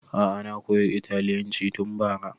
A'a na koya italyanci tun bara